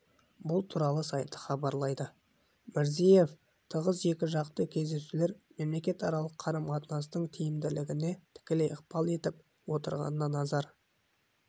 бұл туралы сайты хабарлайды мирзиев тығыз екіжақты кездесулер мемлекетаралық қарым-қатынастың тиімділігіне тікелей ықпал етіп отырғанына назар